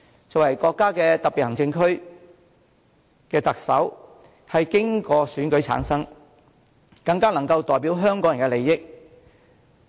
作為國家特別行政區的特首，經由選舉產生，更能代表香港人的利益。